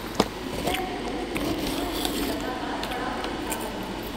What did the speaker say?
इसलै में द'ऊं दिनें थमां इसगी लगातार पढ़ा ते लिखा करनां ।